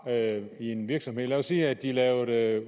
i en virksomhed lad os sige at de lavede